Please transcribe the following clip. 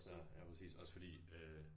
klar ja præcis også fordi øh